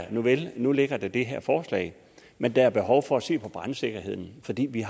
at nuvel nu ligger der det her forslag men der er behov for at se på brandsikkerheden fordi vi